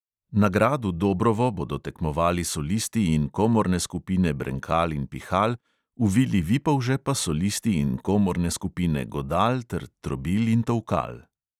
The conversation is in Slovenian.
Na gradu dobrovo bodo tekmovali solisti in komorne skupine brenkal in pihal, v vili vipolže pa solisti in komorne skupine godal ter trobil in tolkal.